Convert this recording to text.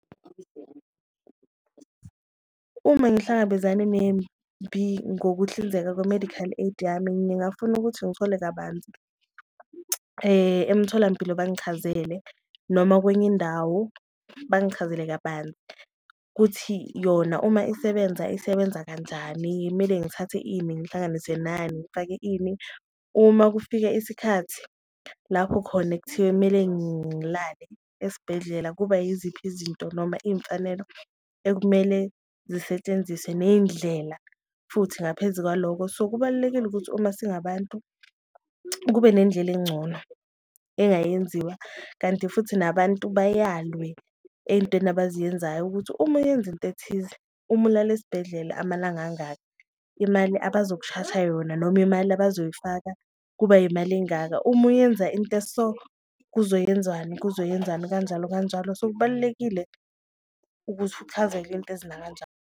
Uma ngihlangabezane ngokuhlinzeka kwe-medical aid yami, ngingafuna ukuthi ngithole kabanzi emtholampilo bangichazele noma kwenye indawo bangichazele kabanzi kuthi yona uma isebenza isebenza kanjani. Kumele ngithathe ini ngihlanganise nani, ngifake ini uma kufika isikhathi lapho khona ekuthiwe kumele ngilale esibhedlela kuba yiziphi izinto noma iyimfanelo okumele zisetshenziswe neyindlela futhi, ngaphezu kwalokho. So kubalulekile ukuthi uma singabantu kube nendlela engcono engayenziwa kanti futhi nabantu bayalwe eyintweni abaziyenzayo ukuthi uma uyenza into ethize, uma ulale esibhedlela amalanga angaka imali abazoshaja yona. Noma imali abazoyifaka kuba yimali engaka uma uyenza into eso kuzoyenzani, kuzoyenzani kanjalo kanjalo so, kubalulekile ukuthi .